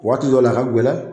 Waati dɔw la a ka ŋɛlɛ